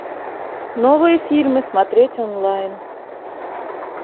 новые фильмы смотреть онлайн